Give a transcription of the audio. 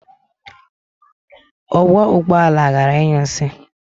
Ọkwọ ụgbọala gara ịnyụ nsị.